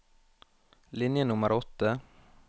Linje nummer åtte